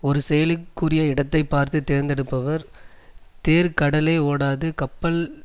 ஒரு செயலுக்குரிய இடத்தை பார்த்து தேர்ந்தெடுப்பவர் தேர் கடலே ஓடாது கப்பல்